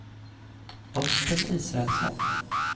Östen Israelsson